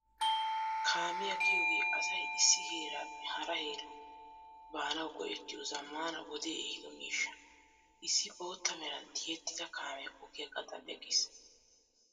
Kaamiyaa giyoogee asay issi heeraappe hara herawu baanawu go"ettiyoo zammaana wodee ehiido miishsha. Issi bootta meran tiyetida kaamee ogiyaa gaxan eqqiis.